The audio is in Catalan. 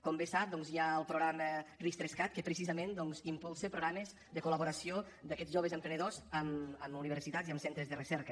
com bé sap hi ha el programa ris3cat que precisament doncs impulsa programes de col·laboració d’aquests joves emprenedors amb universitats i amb centres de recerca